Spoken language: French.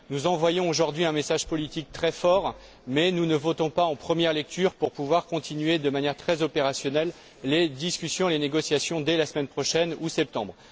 Nous envoyons aujourd'hui un message politique très fort, mais nous ne votons pas en première lecture pour pouvoir continuer de manière très opérationnelle les discussions et les négociations dès la semaine prochaine ou en septembre.